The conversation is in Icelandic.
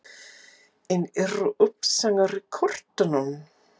En eru uppsagnir í kortunum?